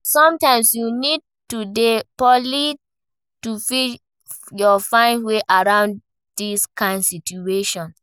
Sometimes you need to dey polite to fit find your way around this kind situation